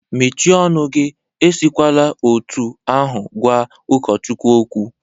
Mechie ọnụ gi! Esikwala otu ahụ gwa ụkọchukwu okwu.